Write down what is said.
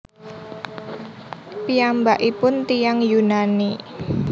Piyambakipun tiyang Yunani